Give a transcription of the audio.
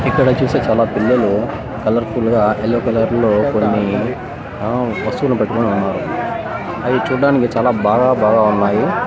ఇక్కడోచ్చేసి చాలా పిల్లలు colourful గా ఎల్లో కలర్ లో కొన్ని అ వస్తువులు పట్టుకొని ఉన్నారు అవి చూడ్డానికి చాలా బాగా బాగా ఉన్నాయి.